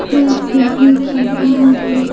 खास करके सफाई का--